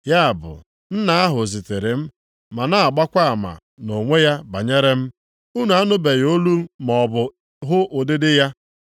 Ya bụ Nna ahụ zitere m na-agbakwa ama nʼonwe ya banyere m. Unu anụbeghị olu maọbụ hụ ụdịdị ya.